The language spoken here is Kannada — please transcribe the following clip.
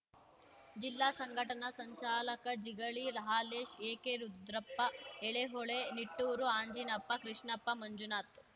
ಜಿಲ್ಲಾ ಸಂಘಟನಾ ಸಂಚಾಲಕ ಜಿಗಳಿ ಹಾಲೇಶ್‌ ಏಕೆರುದ್ರಪ್ಪ ಎಳೆಹೊಳೆ ನಿಟ್ಟೂರು ಆಂಜಿನಪ್ಪ ಕೃಷ್ಣಪ್ಪ ಮಂಜುನಾಥ್‌